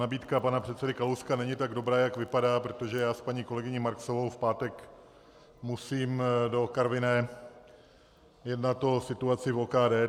Nabídka pana předsedy Kalouska není tak dobrá, jak vypadá, protože já s paní kolegyní Marksovou v pátek musím do Karviné jednat o situaci v OKD.